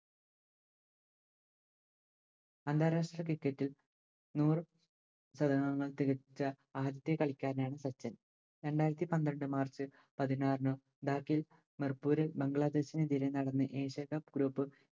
അന്താരാഷ്ട്ര Cricket ഇൽ നൂറ് ങ്ങൾ തികച്ച ആദ്യത്തെ കളിക്കാരനായിരുന്നു സച്ചിൻ രണ്ടായിരത്തി പന്ത്രണ്ട് March പതിനാറിന് Bat ഇൽ ബംഗ്ലാദേശിനെയും ജലീനഗറിനെയും Group